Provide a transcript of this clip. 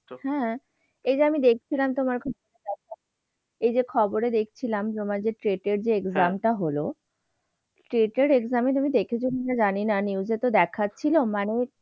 হ্যাঁ, এই যে আমি দেখছিলাম তোমার খুব এই যে খবরে দেখছিলাম তোমার যে trait এর যে exam টা হল trait এর exam এ তুমি দেখছো কিনা জানি না news এতো দেখাচ্ছিল মানে,